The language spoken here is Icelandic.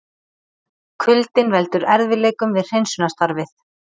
Kuldinn veldur erfiðleikum við hreinsunarstarfið